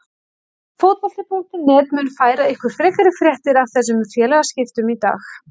Fótbolti.net mun færa ykkur frekari fréttir af þessum félagaskiptum í dag.